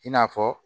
I n'a fɔ